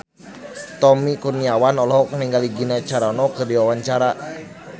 Tommy Kurniawan olohok ningali Gina Carano keur diwawancara